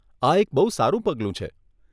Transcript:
આ એક બહુ સારું પગલું છે.